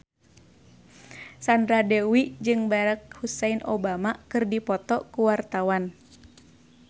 Sandra Dewi jeung Barack Hussein Obama keur dipoto ku wartawan